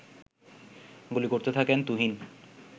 গুলি করতে থাকেন তুহিন